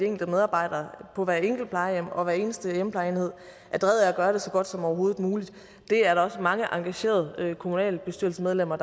enkelte medarbejdere på hvert enkelt plejehjem og hver eneste hjemmeplejeenhed er drevet af så godt som overhovedet muligt det er der også mange engagerede kommunalbestyrelsesmedlemmer